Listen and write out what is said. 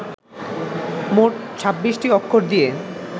মোট ছাব্বিশটি অক্ষর দিয়ে